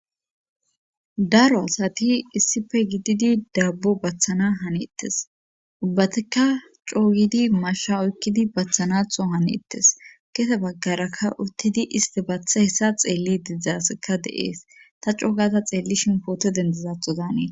daro asati issife gididi daabbo bathana haneettes ubbatika coogidi masha oykkidi bathanatho hanettes kese baggarakka uttidi isti batha hessa xeelli didzdzaseka de7ees ta coogaza xeelli shimpoote dendezatho danee